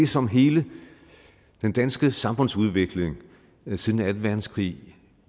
som hele den danske samfundsudvikling siden anden verdenskrig